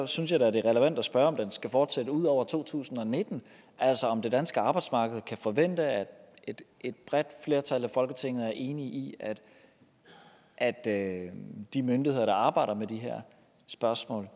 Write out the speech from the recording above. synes jeg da det er relevant at spørge om den skal fortsætte ud over to tusind og nitten altså om det danske arbejdsmarked kan forvente at et bredt flertal i folketinget er enige i at at de myndigheder der arbejder med de her spørgsmål